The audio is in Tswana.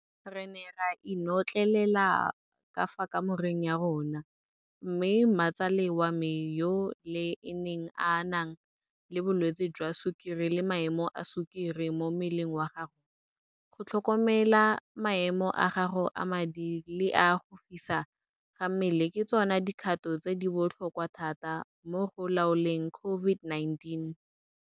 Re ne ra inotlelela ka fa kamoreng ya rona, mme mmatsale wa me yo le ene a nang le bolwetse jwa Sukiri le maemo a sukiri mo mmeleng wa gago, go tlhokomela maemo a gago a madi le a go fisa ga mmele ke tsona dikgato tse di botlhokwa thata mo go laoleng COVID-19